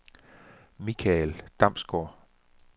Mikael Damsgaard